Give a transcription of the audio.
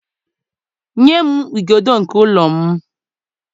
nye m igodo nke ụlọ m